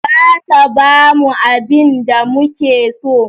Za ta bamu abinda muke so